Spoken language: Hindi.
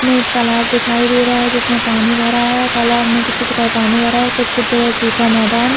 में एक तालाब दिखाई दे रहा है जिसमे पानी भरा है तालाब में कुछ - कुछ जगह पानी भरा है कुछ- कुछ जगह सुखा मैदान --